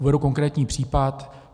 Uvedu konkrétní případ.